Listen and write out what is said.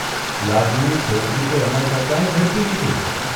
લાગ્યું છોકરી તો એના કરતાંય ઝડપી નીકળી !